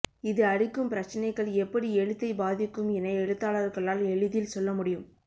இது அளிக்கும் பிரச்சினைகள் எப்படி எழுத்தை பாதிக்கும் என எழுத்தாளர்களால் எளிதில் சொல்லமுடியும்